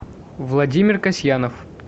владимир касьянов